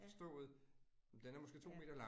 Ja. Ja